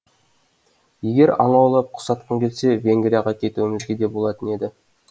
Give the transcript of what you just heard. егер аң аулап құс атқың келсе венгрияға кетуімізге де болатын еді